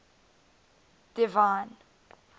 divine